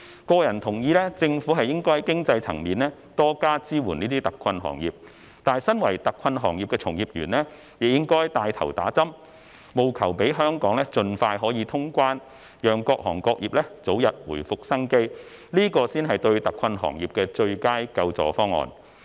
個人同意政府應該在經濟層面多加支援這些特困行業，但身為特困行業的從業員，亦應該帶頭接種疫苗，務求讓香港可以盡快通關，讓各行各業早日回復生機，這才是對特困行業的最佳救助方案。